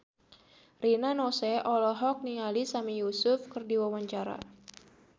Rina Nose olohok ningali Sami Yusuf keur diwawancara